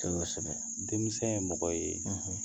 Tɔgɔ sɛbɛn denmisɛnw ye mɔgɔ ye